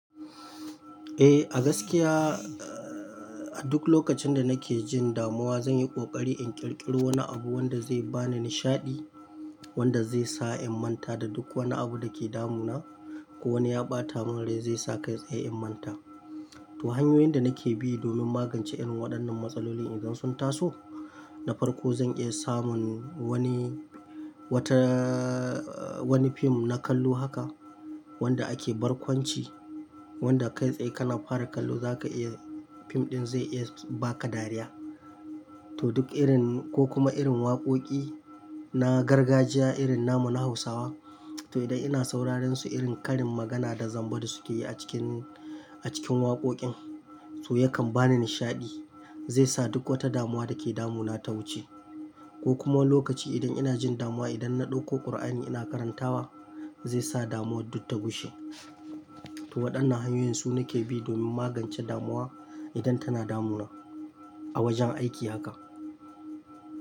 Eh a gaskiya, eh a duk lokacin da nake jin damuwa zanyi ƙoƙari in ƙirƙiro wani abu wanda zai bani nishaɗi, wanda zaisa in manta da duk wani abu dake damuna. Ko wani ya ɓatamanin rai zaisa kai tsaye in manta. To hanyoyin da nake bi domin magance irin waɗannan matsaloli idan sun taso, na farko zan iya samun wani wata wani fim na kallo haka wanda ake barkwanci, wanda kai tsaye kana fara kallo zaka iya fim ɗin zai iya baka dariya. To duk irin ko kuma irin waƙoƙi na gargajiya irin namu Hausawa, to idan ina sauraren su irin karin magana da zamba da suke yi a cikin a cikin waƙoƙin, to yakan bani nishaɗi. Zai sa duk wata damuwa dake damuna ta wuce. Ko kuma lokaci idan ina jin damuwa idan na ɗauko Ƙur'ani ina karantawa zaisa damuwar duk ta gushe. To waɗannan hanyoyin su nake bi don magance damuwa idan tana damuna a wajen aiki haka.